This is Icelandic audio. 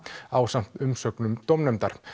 ásamt umsögnum dómnefndar